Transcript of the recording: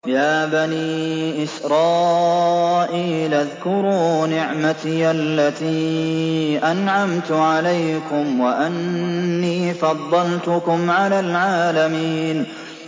يَا بَنِي إِسْرَائِيلَ اذْكُرُوا نِعْمَتِيَ الَّتِي أَنْعَمْتُ عَلَيْكُمْ وَأَنِّي فَضَّلْتُكُمْ عَلَى الْعَالَمِينَ